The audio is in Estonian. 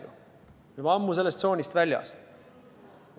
Juba ammu oleme sellest tsoonist väljas.